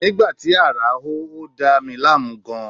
Nígbà tí ààrá hó, ó dà mí láàmú gan-an